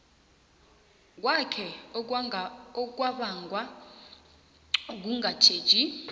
kwakhe okwabangwa kungatjheji